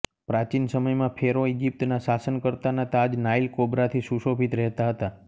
પ્રાચીન સમયમાં ફેરો ઇજિપ્તના શાસનકર્તાના તાજ નાઇલ કોબ્રાથી સુશોભિત રહેતાં હતા